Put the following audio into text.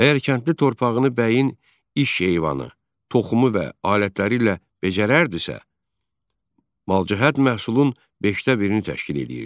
Əgər kəndli torpağını bəyin iş heyvanı, toxumu və alətləri ilə becərərdissə, malcəhət məhsulun beşdə birini təşkil edirdi.